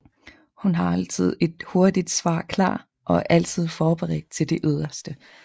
Hun har altid et hurtigt svar klar og er altid forberedt til det yderste